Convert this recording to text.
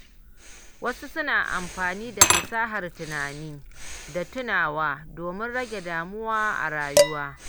Wasu suna amfani da fasahar tunani da tunawa domin rage damuwa a rayuwa.